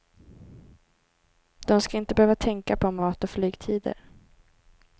De ska inte behöva tänka på mat och flygtider.